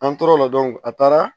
An tora o la a taara